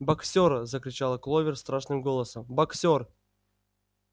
боксёр закричала кловер страшным голосом боксёр